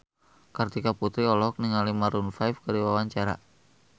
Kartika Putri olohok ningali Maroon 5 keur diwawancara